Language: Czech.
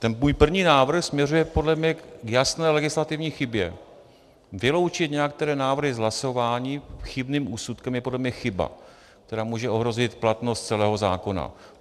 Ten můj první návrh směřuje podle mě k jasné legislativní chybě, vyloučit některé návrhy z hlasování chybným úsudkem je podle mě chyba, která může ohrozit platnost celého zákona.